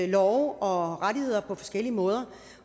love og rettigheder på forskellige måder